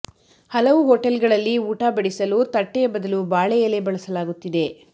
ಹಲವು ಹೋಟೆಲ್ಗಳಲ್ಲಿ ಊಟ ಬಡಿಸಲು ತಟ್ಟೆಯ ಬದಲು ಬಾಳೆ ಎಲೆ ಬಳಸಲಾಗುತ್ತಿದೆ